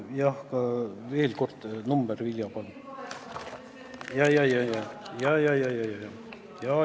Jah, veel kord: number, Vilja, palun!